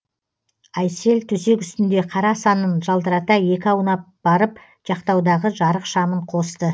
айсел төсек үстінде қара санын жалтырата екі аунап барып жақтаудағы жарық шамын қосты